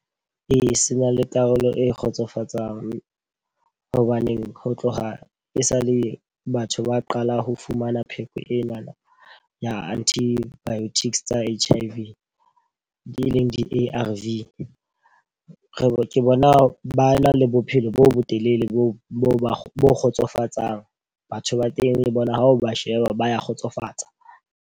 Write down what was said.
Ee, se na le karolo e kgotsofatsang. Hobaneng ho tloha e sa le batho ba qala ho fumana pheko enana ya antibiotics tsa H_I_V di leng di-A_R_V. Re ke bona ba na le bophelo bo botelele bo bo kgotsofatsang. Batho ba teng le bona o ba sheba ba ya kgotsofatsa.